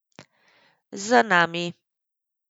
Z nami.